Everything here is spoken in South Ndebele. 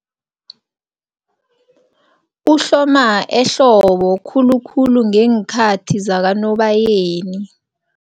Uhloma ehlobo khulukhulu ngeenkhathi zakaNobayeni.